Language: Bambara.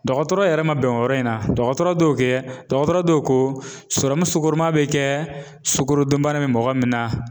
Dɔgɔtɔrɔ yɛrɛ ma bɛn o yɔrɔ in na, dɔgɔtɔrɔ dɔw kɛ, dɔgɔtɔrɔ dɔw ko serɔmu sukoroman bɛ kɛ sukorodunbana bɛ mɔgɔ min na .